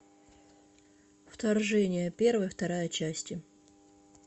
вторжение первая вторая части